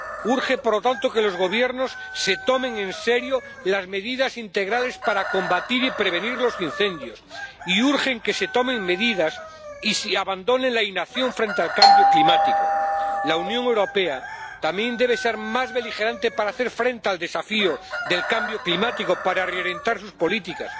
Urge, por lo tanto, que los Gobiernos se tomen en serio las medidas integrales para combatir y prevenir los incendios y urge que se tomen medidas y se abandone la inacción frente al cambio climático. La Unión Europea también debe ser más beligerante para hacer frente al desafío del cambio climático, para reorientar sus políticas.